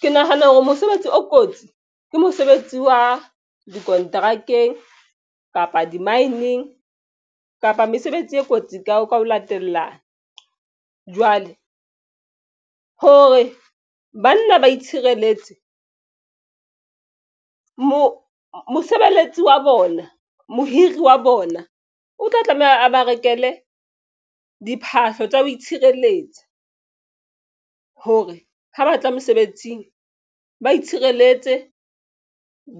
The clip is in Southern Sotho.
Ke nahana hore mosebetsi o kotsi ke mosebetsi wa dikonterakeng kapa di-mine-ng kapa mesebetsi e kotsi ka ho latellana. Jwale hore banna ba itshireletse mo mosebeletsi wa bona mohiri wa bona o tla tlameha a ba rekele diphahlo tsa ho itshireletsa hore ha batla mosebetsing ba itshireletse